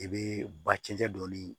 I bɛ ba cɛncɛn don